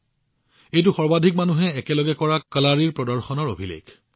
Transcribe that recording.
এই অভিলেখ একেলগে সৰ্বাধিক সংখ্যক লোকৰ দ্বাৰা কালাৰীৰ প্ৰদৰ্শনৰ বাবে সৃষ্টি হৈছে